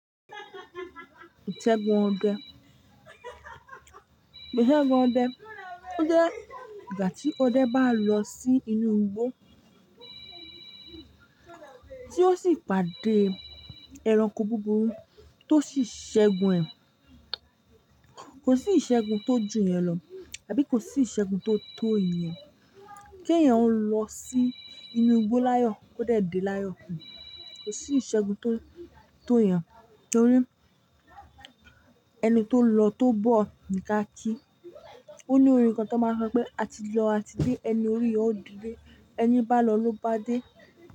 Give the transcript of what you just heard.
Ìṣẹ́gun ọdẹ, ìṣẹ́gun ọdẹ, ó jẹ́ ìgbà tí ọdẹ bá lọ sí inú igbó tí ó sì pàdé ẹranko búburú tó sì ṣẹ́gun ẹ̀. Kò sí ìṣẹ́gun tó jù iyẹn lọ àbí kò sí ìṣẹ́gun tó tó iyẹn. K'éyan ó ń lọ sí inú igbó láyọ̀, ko de dé láyọ̀. Kò sí ìṣẹ́gun tó, tó iyẹn torí ẹni tó lọ tó bọ̀ ní ká kí. Ó ní orin kan tan máa ń sọ pé, "a ti lọ a ti dé, ẹni orí yo ó di lé. Ẹni bá lọ ló bá dé."